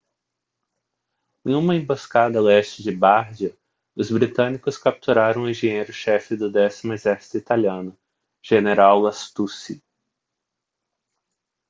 em uma emboscada a leste de bardia os britânicos capturaram o engenheiro chefe do décimo exército italiano general lastucci